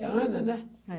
É Ana, né? É.